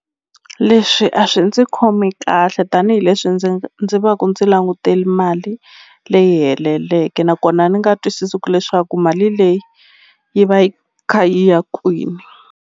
Leswi a swi ndzi khomi kahle tanihileswi ndzi ndzi va ku ndzi languteli mali leyi heleleke nakona ni nga twisisi ku leswaku mali leyi yi va yi kha yi ya kwini.